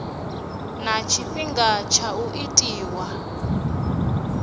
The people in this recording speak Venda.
na tshifhinga tsha u itwa